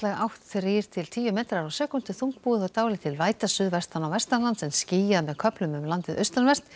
átt þrjú til tíu metrar á sekúndu þungbúið og dálítil væta suðvestan og vestanlands en skýjað með köflum um landið austanvert